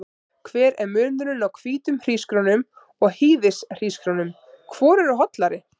Hver er munurinn á hvítum hrísgrjónum og hýðishrísgrjónum, hvor eru hollari?